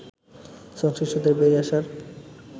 সংশ্লিষ্টদের বেরিয়ে আসার